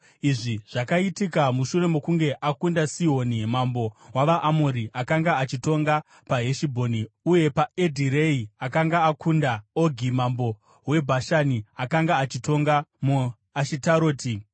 Izvi zvakaitika mushure mokunge akunda Sihoni mambo wavaAmori, akanga achitonga paHeshibhoni, uye paEdhirei akanga akunda Ogi mambo weBhashani, akanga achitonga muAshitaroti.